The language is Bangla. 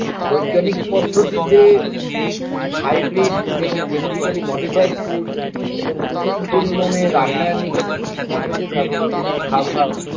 বৈজ্ঞানিক পদ্ধতিতে hybrid এবং genetically modified food এবং প্রচুর পরিমাণে রাসায়নিক এবং কীটনাশকের ব্যবহারে যে খাবার